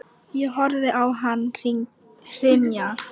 Ég horfði á hann hrynja.